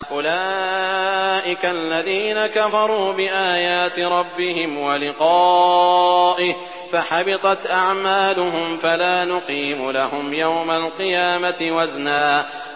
أُولَٰئِكَ الَّذِينَ كَفَرُوا بِآيَاتِ رَبِّهِمْ وَلِقَائِهِ فَحَبِطَتْ أَعْمَالُهُمْ فَلَا نُقِيمُ لَهُمْ يَوْمَ الْقِيَامَةِ وَزْنًا